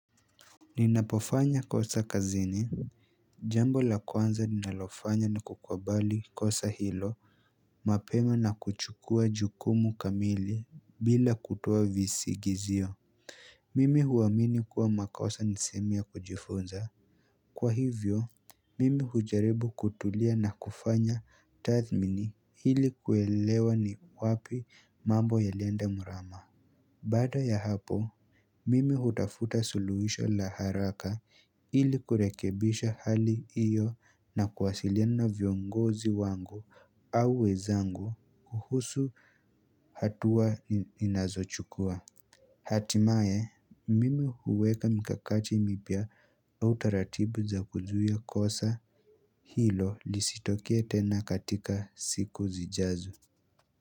Ninapofanya kosa kazini Jambo la kwanza ninalofanya ni kukabali kosa hilo mapema na kuchukua jukumu kamili bila kutoa visigizio Mimi huamini kuwa makosa nisehemu ya kujifunza Kwa hivyo mimi hujaribu kutulia na kufanya tathmini ili kuelewa ni wapi mambo ya lienda murama Baada ya hapo, mimi hutafuta suluhisha la haraka ili kurekebisha hali iyo na kuwasiliana viongozi wangu au wezangu kuhusu hatua ninazochukua. Hatimaye, mimi huweka mikakachi mipya au taratibu za kuzuia kosa hilo lisitokee tena katika siku zijazo.